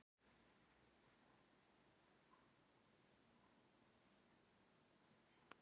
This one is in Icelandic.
Þær eru auglýstar á nauðungaruppboði í Lögbirtingablaðinu í dag!